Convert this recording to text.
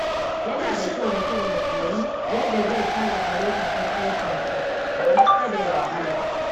Yana da kyau mutum ya koyi yadda zai sarrafa lokacin aikinsa domin kada ya wahala.